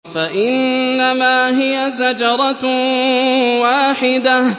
فَإِنَّمَا هِيَ زَجْرَةٌ وَاحِدَةٌ